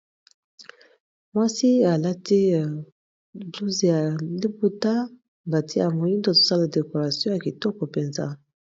Mwasi alati blouze ya liputa, bati yango moindo. Azosala decoration ya kitoko mpenza.